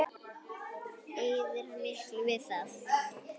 Eyðir hann miklu við það?